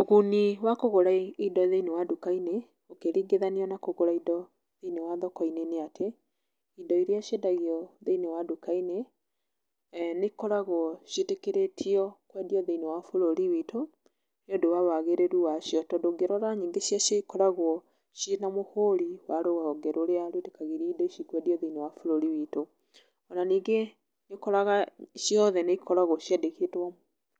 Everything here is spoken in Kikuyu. Ũguni wa kũgũra indo thĩinĩ wa nduka-inĩ, ũkĩringithiania na kũgũra indo thĩiniĩ wa thoko-inĩ nĩ atĩ, indo iria ciendagio thĩinĩ wa nduka-inĩ nĩ ikoragwo ciĩtĩkĩrĩtio kwendio thĩiniĩ wa bũrũri witũ nĩ ũndũ wa wagĩrĩru wacio. Tondũ ũngĩrora nyingĩ cia cio ikoragwo ciĩ na mũhũri wa rũhonge rũrĩa rwĩtĩkagĩria nindo ici kwendio thĩinĩ wa bũrũri witũ. Ona ningĩ nĩ ũkoraga ciothe nĩ ikoragwo ciandĩkĩtwo